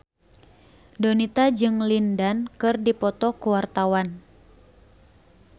Donita jeung Lin Dan keur dipoto ku wartawan